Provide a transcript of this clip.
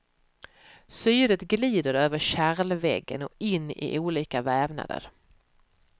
Syret glider över kärlväggen och in i olika vävnader.